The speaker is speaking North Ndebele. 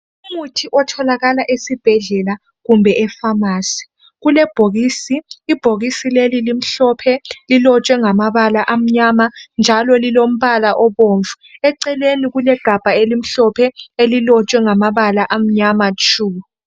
Umuthi otholakala esibhedlela kumbe efamasi. Kulebhokisi elimhlophe elilotshwe ngamabala amnyama njalo lilombala obomvu. Eceleni kulegabha elimhlophe elilotshwe ngamabala amnyama tshu.